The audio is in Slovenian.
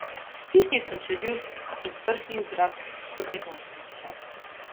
Stisnil sem čeljust in prhnil zrak skozi nosnice.